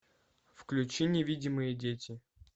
включи невидимые дети